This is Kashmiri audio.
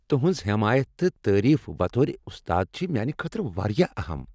تہنٛز حمایت تہٕ تعریف بطور استاد چھ میانہ خٲطرٕ واریاہ اہم۔